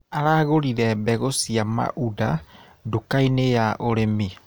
Aragũrire mbegũ cia maunda dũkainĩ ya ũrĩmi.